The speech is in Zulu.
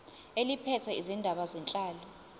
eliphethe izindaba zenhlalo